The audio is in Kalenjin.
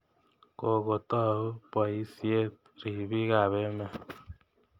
Kokotou poisyet ripiik ap emet.